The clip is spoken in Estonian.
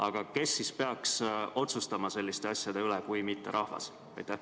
Aga kes siis peaks otsustama selliste asjade üle kui mitte rahvas?